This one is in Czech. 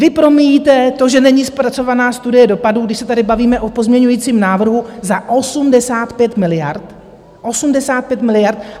Vy promíjíte to, že není zpracovaná studie dopadů, když se tady bavíme o pozměňovacím návrhu za 85 miliard - 85 miliard!